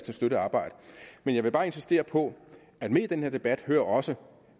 støttet arbejde men jeg vil bare insistere på at med i den her debat hører også